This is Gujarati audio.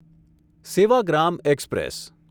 સેવાગ્રામ એક્સપ્રેસ